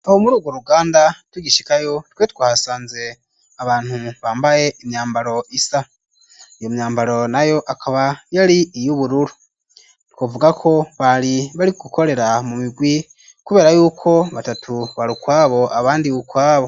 Aho mur’ubwo ruganda tugishikayo twe twahasanze abantu bambaye imyambaro isa ,iyo myambaro na yo akaba yari iy'ubururu twavuga ko bari bari gukorera mu migwi kubera yuko batatu barukwabo abandi ukwabo.